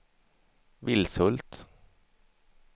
Vilshult